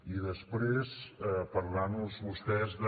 i després parlar nos vostès de